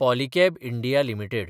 Polycab India limited